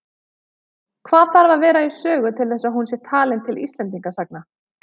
Hvað þarf að vera í sögu til þess að hún sé talin til Íslendingasagna?